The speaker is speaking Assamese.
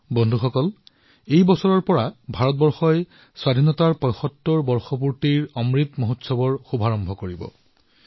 বন্ধুসকল এই বছৰটোত ভাৰতে নিজৰ স্বাধীনতাৰ ৭৫তম বৰ্ষৰ সমাৰোহ অমৃত মহোৎসৱ আৰম্ভ কৰিবলৈ ওলাইছে